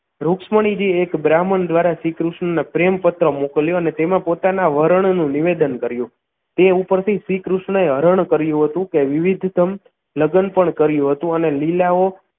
રુકમણીજી એક બ્રાહ્મણ દ્વારા શ્રીકૃષ્ણ ને પ્રેમ પત્ર મોકલ્યો અને તેમાં પોતાના વર્ણ નું નિવેદન કર્યું તે ઉપરથી શ્રીકૃષ્ણએ હરણ કર્યું હતું તે વિવિધતમ લગ્ન પણ કર્યું હતું અને લીલાઓ